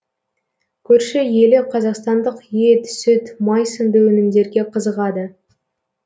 көрші елі қазақстандық ет сүт май сынды өнімдерге қызығады